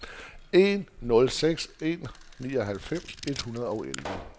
en nul seks en nioghalvfems et hundrede og elleve